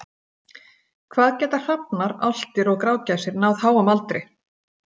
Hvað geta hrafnar, álftir og grágæsir náð háum aldri?